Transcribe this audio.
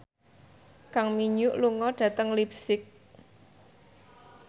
Kang Min Hyuk lunga dhateng leipzig